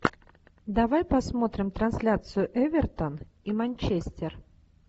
давай посмотрим трансляцию эвертон и манчестер